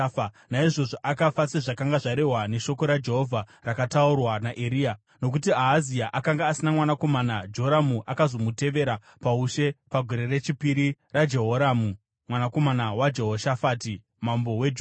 Naizvozvo akafa, sezvakanga zvarehwa neshoko raJehovha rakataurwa naEria. Nokuti Ahazia akanga asina mwanakomana, Joramu akazomutevera paushe pagore rechipiri raJehoramu, mwanakomana waJehoshafati, mambo weJudha.